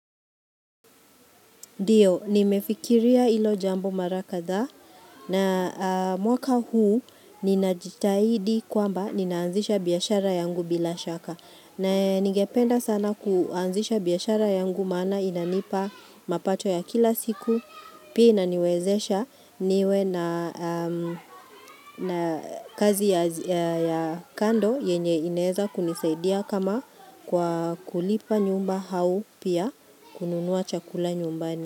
Ndio, nimefikiria hilo jambo mara kadhaa na mwaka huu ninajitahidi kwamba ninaanzisha biashara yangu bila shaka. Na ningependa sana kuanzisha biashara yangu maana inanipa mapacho ya kila siku. Pia inaniwezesha niwe na kazi ya kando yenye inaeza kunisaidia kama kwa kulipa nyumba au pia kununua chakula nyumbani.